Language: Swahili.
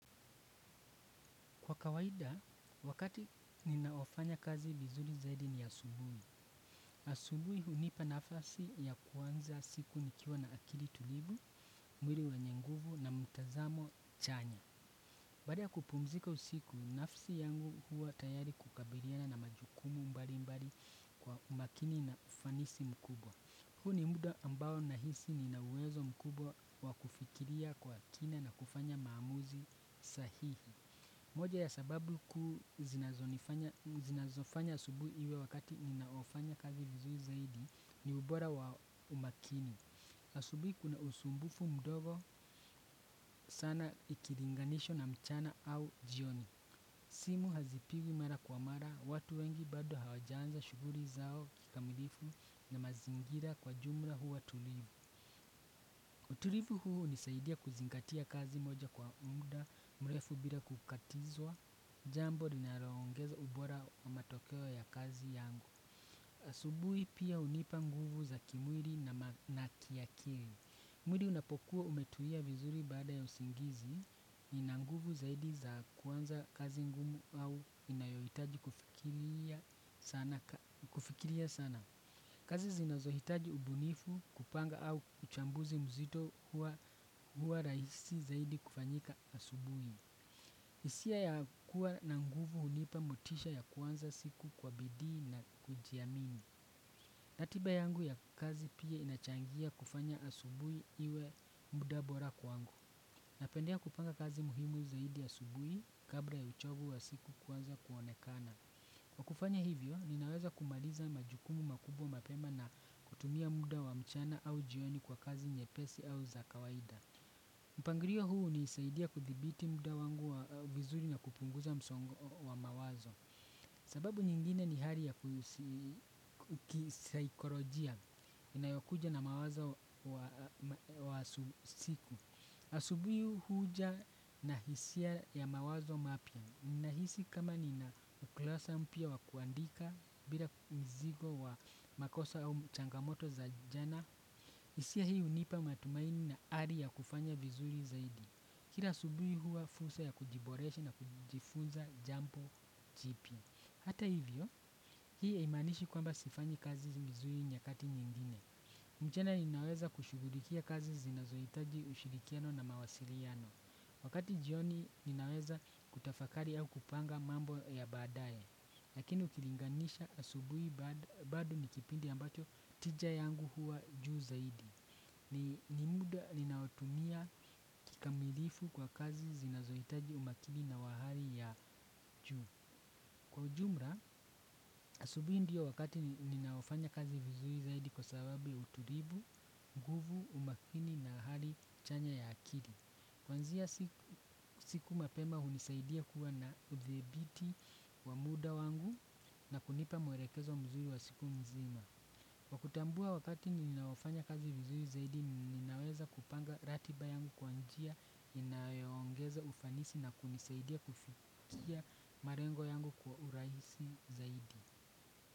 Kwa kawaida, wakati ninaofanya kazi vizuri zaidi ni asubuni. Asubuhi unipa nafasi ya kuanza siku nikiwa na akili tulivu, mwiri wenye nguvu na mtazamo chanya. Bada ya kupumzika usiku, nafsi yangu huwa tayari kukabiliana na majukumu mbali mbali kwa umakini na ufanisi mkubwa. Hu ni muda ambao nahisi nina uwezo mkubwa wakufikiria kwa kina na kufanya maamuzi sahihi. Moja ya sababu kuu zinazofanya asubui iwe wakati ninaofanya kazi vizuri zaidi ni ubora wa umakini. Asubui kuna usumbufu mdogo sana ikiringanisho na mchana au jioni. Simu hazipigwi mara kwa mara, watu wengi bado hawajaanza shuguri zao kikamilifu na mazingira kwa jumla huwa tulivu. Utulivu huu unisaidia kuzingatia kazi moja kwa mda, mrefu bila kukatizwa, jambo linarongeza ubora wa matokewo ya kazi yangu. Asubuhi pia unipa nguvu za kimwiri na kiakiri. Mwiri unapokuwa umetulia vizuri bada ya usingizi, ina nguvu zaidi za kuanza kazi ngumu au inayoitaji kufikiria sana. Na kufikiria sana, kazi zinazohitaji ubunifu kupanga au kuchambuzi mzito huwa raisi zaidi kufanyika asubui. Isia ya kuwa na nguvu hunipa motisha ya kuanza siku kwa bidhi na kujiamini. Ratiba yangu ya kazi pia inachangia kufanya asubui iwe mudabora kwangu. Napendea kupanga kazi muhimu zaidi asubui kabla ya uchovu wa siku kuanza kuonekana. Kwa kufanya hivyo, ninaweza kumaliza majukumu makubwa mapema na kutumia muda wa mchana au jioni kwa kazi nyepesi au za kawaida. Mpangirio huu unisaidia kuthibiti muda wangu wa vizuri na kupunguza msongo wa mawazo. Sababu nyingine ni hali ya kisaikorojia inayokuja na mawazo wa siku. Asubuyi huja na hisia ya mawazo mapia. Nina hisi kama nina ukulasa mpia wa kuandika bila mzigo wa makosa au changamoto za jana. Isia hii unipa matumaini na ari ya kufanya vizuri zaidi. Kira asubuhi hua fursa ya kujiboreshi na kujifunza jampo jipia. Hata hivyo, hii haimanishi kwamba sifanyi kazi vizuri nyakati nyingine. Mchana ninaweza kushugulikia kazi zinazoitaji ushirikiano na mawasiriano. Wakati jioni ninaweza kutafakari au kupanga mambo ya badaye, lakini ukilinganisha asubui bado ni kipindi ambacho tija yangu huwa juu zaidi. Nimuda ninawotumia kikamilifu kwa kazi zinazoitaji umakini na wa hari ya juu. Kwa ujumra, asubui ndiyo wakati ninaofanya kazi vizuri zaidi kwa sababu utulivu, nguvu, umakini na hali chanya ya akiri. Kwanzia siku mapema hunisaidia kuwa na uthibiti wa muda wangu na kunipa mwerekezo mzuri wa siku mzima. Kwa kutambua wakati ninaofanya kazi vizuri zaidi ninaweza kupanga ratiba yangu kwa njia inayongeza ufanisi na kunisaidia kufikia marengo yangu kwa urahisi zaidi.